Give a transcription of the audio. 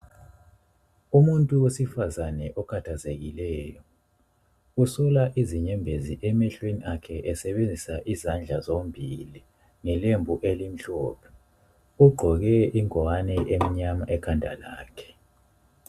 Umuntu wesifazana okhathazekileyo ,usula izinyembezi emehlweni akhe esebenzisa izandla zombili, ngelembu elimhlophe. Ugqoke ingwane emnyama ekhanda lakhe.